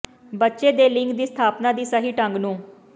ਬੱਚੇ ਦੇ ਲਿੰਗ ਦੀ ਸਥਾਪਨਾ ਦੀ ਸਹੀ ਢੰਗ ਨੂੰ